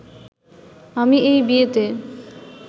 আমি এই বিয়েতে